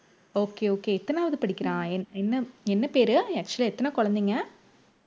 okay okay எத்தனாவது படிக்கிறான் என்~ என்ன என்ன பேரு actual ஆ எத்தனை குழந்தைங்க